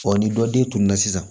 ni dɔ den tununna sisan